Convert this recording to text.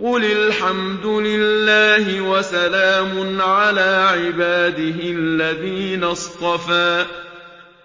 قُلِ الْحَمْدُ لِلَّهِ وَسَلَامٌ عَلَىٰ عِبَادِهِ الَّذِينَ اصْطَفَىٰ ۗ